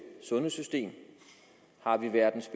sundhedssystem har vi verdens